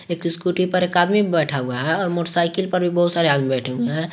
एक स्कूटी पर एक आदमी बैठा हुआ है और मोटरसाइकिल पर बहुत सारे आदमी बैठे हुए हैं।